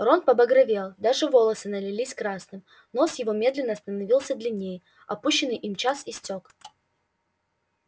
рон побагровел даже волосы налились красным нос его медленно становился длиннее отпущенный им час истёк